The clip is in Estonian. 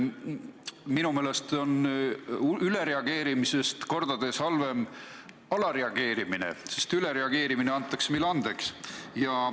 Minu meelest on ülereageerimisest kordades halvem alareageerimine, sest ülereageerimine antakse meile andeks.